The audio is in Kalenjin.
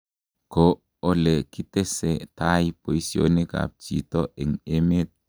ko ole kitese tai boisionikab chito eng emet.